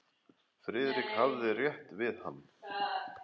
Friðrik hafði rétt hann við.